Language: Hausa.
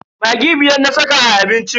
Maggi biyar na saka a abincin.